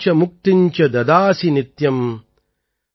புக்திம் ச முக்திம் ச ததாசி நித்யம்